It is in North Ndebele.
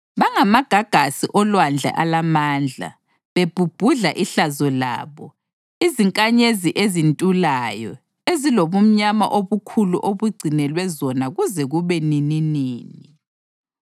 Bangamagagasi olwandle alamandla, bebhubhudla ihlazo labo; izinkanyezi ezintulayo, ezilobumnyama obukhulu obugcinelwe zona kuze kube nininini.